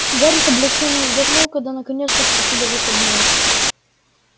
гарри с облегчением вздохнул когда наконец наступили выходные